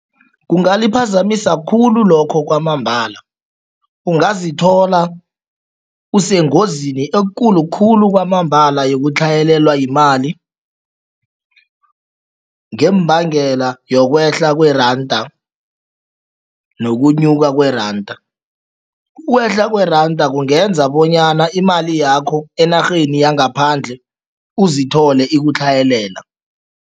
Kungaliphazamisa khulu lokho kwamambala. Ungazithola usengozini ekulu khulu kwamambala yokutlhayelelwa yimali ngembangela yokwehla kweranda nokunyuka kweranda. Ukwehla kweranda kungenza bonyana imali yakho enarheni yangaphandle uzithole ikutlhayelela.